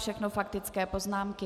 Všechno faktické poznámky.